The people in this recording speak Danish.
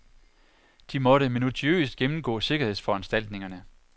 De måtte minutiøst gennemgå sikkerhedsforanstaltningerne